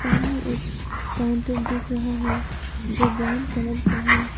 सामने एक काउंटर दिख रहा है जो ब्राउन कलर का है।